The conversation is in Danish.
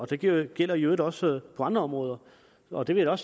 det gælder gælder i øvrigt også på andre områder og det vil jeg